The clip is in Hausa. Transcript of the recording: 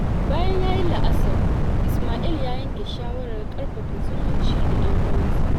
Bayan ya yi la’asar, Isma'il ya yanke shawarar ƙarfafa zumunci da 'yan'uwansa.